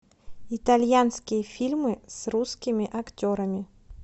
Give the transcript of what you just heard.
итальянские фильмы с русскими актерами